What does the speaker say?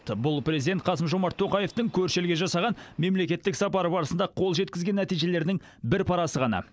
бұл президент қасым жомарт тоқаевтың көрші елге жасаған мемлекеттік сапары барысында қол жеткізген нәтижелерінің бір парасы ғана